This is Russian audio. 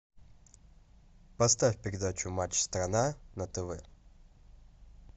поставь передачу матч страна на тв